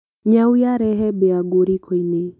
Nyau yarehe mbĩa nguo rikoinĩ.